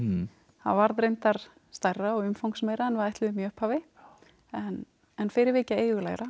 það varð reyndar stærra og umfangsmeira en við ætluðum í upphafi en en fyrir vikið